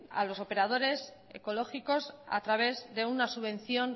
a lo operadores ecológicos a través de una subvención